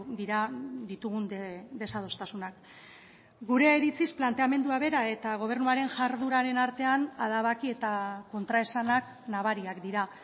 dira ditugun desadostasunak gure iritziz planteamendua bera eta gobernuaren jardueraren artean adabaki eta kontraesanak nabariak dira